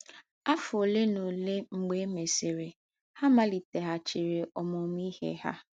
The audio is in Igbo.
Afọ ole na ole mgbe e mesịrị, ha maliteghachiri ọmụmụ ihe ha.